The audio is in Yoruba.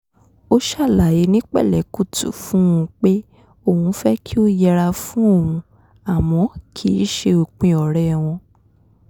ó ṣàlàyé ní pẹ̀lẹ́kùtù fún un pé òun fẹ́ kí ó yẹra fún òun àmọ́ kìí ṣe òpin ọ̀rẹ́ wọn